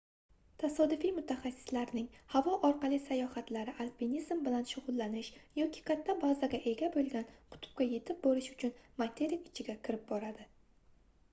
tasodifiy mutaxassislarning havo orqali sayohatlari alpinizm bilan shugʻullanish yoki katta bazaga ega boʻlgan qutbga yetib borish uchun materik ichiga kirib boradi